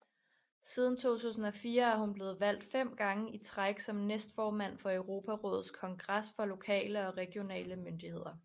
Siden 2004 er hun blevet valgt fem gange i træk som næstformand for Europarådets kongres for lokale og regionale myndigheder